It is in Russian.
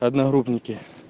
одногруппники